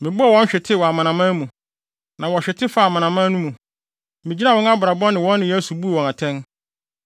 Mebɔɔ wɔn ahwete wɔ amanaman mu, na wɔhwete faa amanaman mu; migyinaa wɔn abrabɔ ne wɔn nneyɛe so buu wɔn atɛn.